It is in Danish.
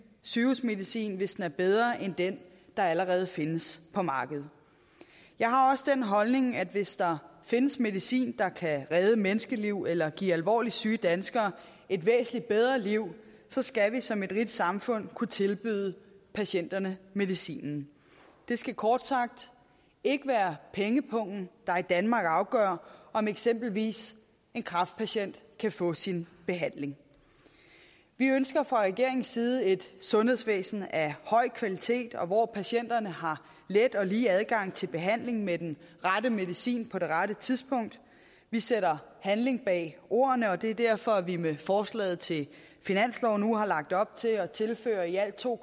sygehusmedicin hvis den er bedre end den der allerede findes på markedet jeg har også den holdning at hvis der findes medicin der kan redde menneskeliv eller give alvorligt syge danskere et væsentligt bedre liv så skal vi som et rigt samfund kunne tilbyde patienterne medicinen det skal kort sagt ikke være pengepungen der i danmark afgør om eksempelvis en kræftpatient kan få sin behandling vi ønsker fra regeringens side et sundhedsvæsen af høj kvalitet hvor patienterne har let og lige adgang til behandling med den rette medicin på det rette tidspunkt vi sætter handling bag ordene og det er derfor at vi med forslaget til finansloven nu har lagt op til at tilføre i alt to